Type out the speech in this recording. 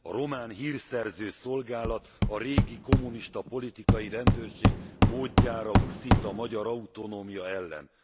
A román hírszerző szolgálat a régi kommunista politikai rendőrség módjára uszít a magyar autonómia ellen.